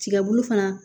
Tiga bulu fana